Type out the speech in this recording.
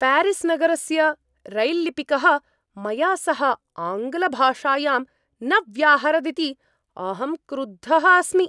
प्यारिस्-नगरस्य रैल्लिपिकः मया सह आङ्ग्लभाषायां न व्याहरदिति अहं क्रुद्धः अस्मि।